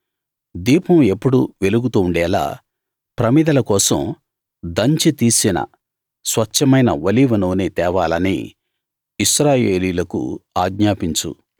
దీపం ఎప్పుడూ వెలుగుతూ ఉండేలా ప్రమిదల కోసం దంచి తీసిన స్వచ్ఛమైన ఒలీవ నూనె తేవాలని ఇశ్రాయేలీయులకు ఆజ్ఞాపించు